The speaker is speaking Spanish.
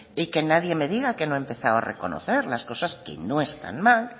y que nadie me diga que no he empezado a reconocer las cosas que no están mal